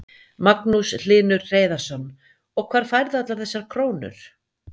Magnús Hlynur Hreiðarsson: Og hvar færðu allar þessar krónur?